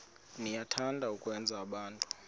niyathanda ukwenza abantu